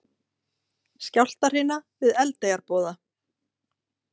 Skjálftahrina við Eldeyjarboða